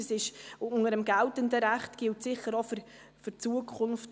Das ist unter dem geltenden Recht so und gilt sicher auch für die Zukunft.